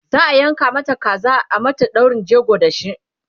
za'a yanka Mata kaza a mata daurin jego da shi